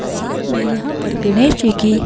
साथ में यहां पर गणेश जी की--